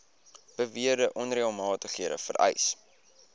beweerde onreëlmatigheid vereis